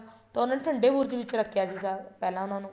ਤਾਂ ਉਹਨਾ ਨੇ ਠੰਡੇ ਬੁਰਜ ਵਿੱਚ ਰੱਖਿਆ ਸੀਗਾ ਪਹਿਲਾ ਉਹਨਾ ਨੂੰ